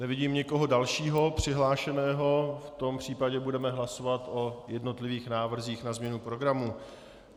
Nevidím nikoho dalšího přihlášeného, v tom případě budeme hlasovat o jednotlivých návrzích na změnu programu.